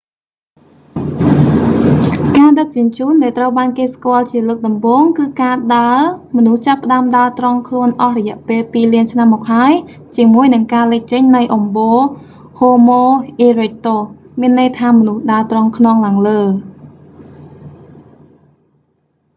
ការដឹកជញ្ជូនដែលត្រូវបានគេស្គាល់ជាលើកដំបូង គឺការដើរ មនុស្សចាប់ផ្តើមដើរត្រង់ខ្លួនអស់រយៈពេលពីរលានឆ្នាំមកហើយ ជាមួយនឹងការលេចចេញនៃអំបូរ ហូម៉ូ អ៊ីរិចទូស homo erectus មានន័យថាមនុស្សដើរត្រង់ខ្នងឡើងលើ